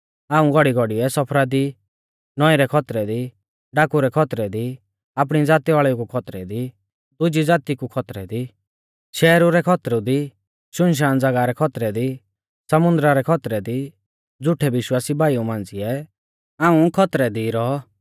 हाऊं घौड़ीघौड़ीऐ सफरा दी नौईं रै खौतरै दी डाकू रै खौतरै दी आपणी ज़ाती वाल़ेउ कु खौतरै दी दुजी ज़ाती कु खौतरै दी शैहरु रै खौतरै दी सुनसान ज़ागाह रै खौतरै दी समुन्दरा रै खौतरै दी झ़ूठै विश्वासी भाईऊ मांझ़िऐ हाऊं खौतरै दी रौ